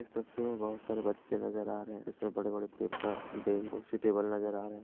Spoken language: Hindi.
इस तस्वीर में बहुत सारे बच्चे नजर आ रहे हैं इसमें बड़े बड़े पेपर बेल कुर्सी टेबल नजर आ रहे हैं।